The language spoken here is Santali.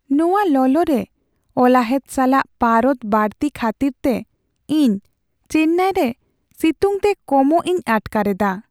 ᱱᱚᱶᱟ ᱞᱚᱞᱚᱨᱮ ᱚᱞᱟᱦᱮᱫ ᱥᱟᱞᱟᱜ ᱯᱟᱨᱚᱫ ᱵᱟᱹᱲᱛᱤ ᱠᱷᱟᱹᱛᱤᱨᱛᱮ ᱤᱧ ᱪᱮᱱᱱᱟᱭ ᱨᱮ ᱥᱤᱛᱩᱝᱛᱮ ᱠᱚᱢᱚᱜ ᱤᱧ ᱟᱴᱠᱟᱨ ᱮᱫᱟ ᱾